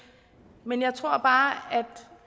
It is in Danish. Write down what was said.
men jeg tror bare at